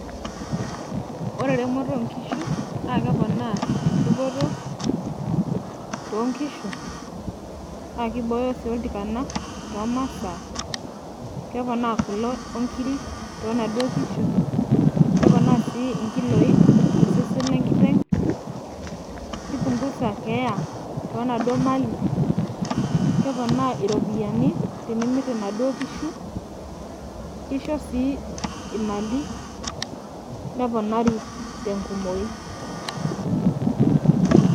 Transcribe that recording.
ore eremoto oo nkishu, naa keponaa dupoto too nkishu, naa kibooyo sii oltikana too masaa, keponaa kule onkiri too naduoo kishu. keponaa sii nkiloi tosesen le nkiteng'.kipungusa keeya to naduoo mali. keonaa irpiyiani tenimir inaduoo kishu kisho sii imali neponari tenkumoi.